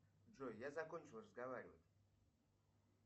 джой я закончил разговаривать